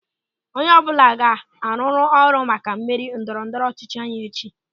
Onye ọbụla ga-arụrịrị ọrụ maka mmeri ndọrọ ndọrọ ọchịchị anyị echi.